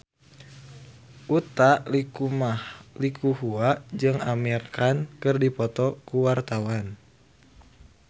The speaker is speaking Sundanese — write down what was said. Utha Likumahua jeung Amir Khan keur dipoto ku wartawan